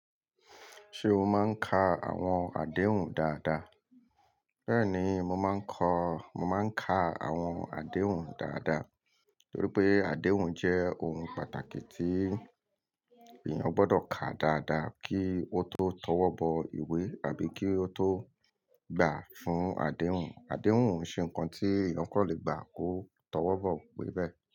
Ṣé o máa ń ka àwọn àdéhùn dáadáa? Bẹ́ẹ̀ni, mo máa ń kọ-- mo máa ń ka àwọn àdéhùn dáadáa torí pé àdéhùn jẹ́ ohun pàtàkì tí èèyàn gbọ́dọ̀ kà dáadáa kí ó tó tọwọ́ bọ ìwé àbí kí ó tó gbà fún àdéhùn. Àdéhùn ò ṣe ǹkan tí èèyàn kò lè gbà kó tọwọ́ bọ iwe bẹ́ẹ̀.